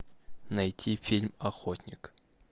найти фильм охотник